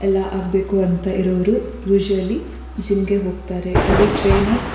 ಎಲ್ಲ ಆಗ್ಬೇಕು ಅಂತ ಇರೋರು ಉಸುಆಲಿ ಜಿಮ್ ಗೆ ಹೋಗ್ತಾರೆ ಅಲ್ಲಿ ಟ್ರೈನೆರ್ಸ್ --